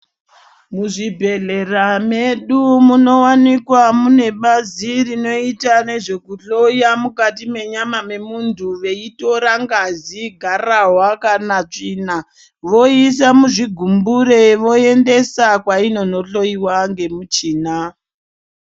Muzvibhehlera medu munowanika mune bazi rinoita nezvekuhloya mukati mwenyama mwemuntu veitora ngazi, gararwa kana tsvina voisa muzvigumbure voendesa kwainono hlyoyiwa ngemichina.